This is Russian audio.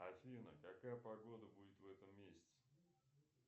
афина какая погода будет в этом месяце